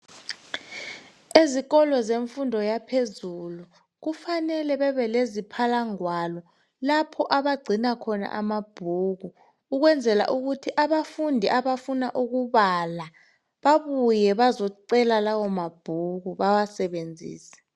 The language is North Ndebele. Ezikolo zemfundo yaphezulu. Kufanele bebe leziphala ngwalo, lapho abagcina khona amabhuku Ukwenzela ukuthi a bafundi abafuna amabhuko babuye bazecela lawo mabhuku bawasebenzise..